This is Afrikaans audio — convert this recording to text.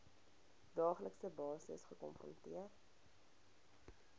daaglikse basis gekonfronteer